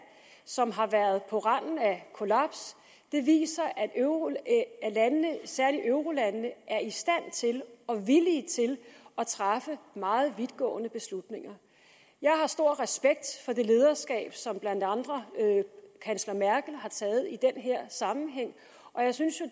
som har været på randen af et kollaps viser at særlig eurolandene er i stand til og villige til at træffe meget vidtgående beslutninger jeg har stor respekt for det lederskab som blandt andre kansler merkel har taget i den her sammenhæng og jeg synes jo